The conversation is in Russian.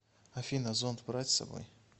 афина зонт брать с собой